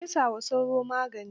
Ka fesa wa sauron magani?